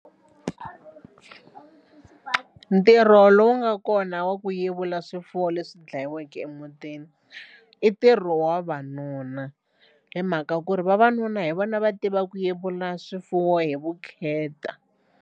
Ntirho lowu nga kona wa ku yevula swifuwo leswi dlayiweke emutini i ntirho wa vavanuna hi mhaka ku ri vavanuna hi vona va tiva ku yevula swifuwo hi vukheta.